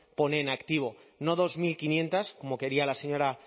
pone en activo no dos mil quinientos como quería la señora